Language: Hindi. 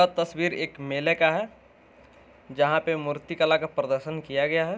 यह तस्वीर एक मेले का है जहा पर मूर्ति कला का प्रदर्शन किया गया है।